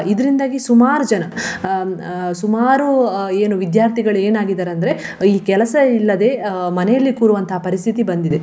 ಇದರಿಂದಾಗಿ ಸುಮಾರು ಜನ ಅಹ್ ಸುಮಾರು ಅಹ್ ಏನು ವಿದ್ಯಾರ್ಥಿಗಳು ಏನಾಗಿದ್ದಾರೆ ಅಂದ್ರೆ ಈ ಕೆಲಸ ಇಲ್ಲದೆ ಅಹ್ ಮನೆಯಲ್ಲಿ ಕೂರುವಂತಹ ಪರಿಸ್ಥಿತಿ ಬಂದಿದೆ.